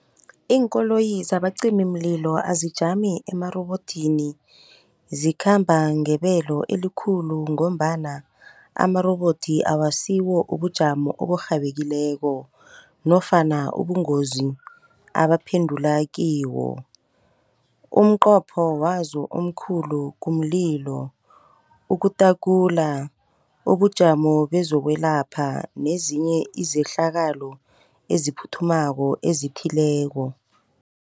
Iinkoloyi zabacimimlilo azijami emarobodini, zikhamba ngebelo elikhulu ngombana amarobodo akasiwo ubujamo oburhabekileko, nofana ubungozi abaphendula kiwo. Umnqopho wazo omkhulu kumlilo, ukutakulula ubujamo bezokwelapha, nezinye izehlakalo eziphuthumako ezithileko.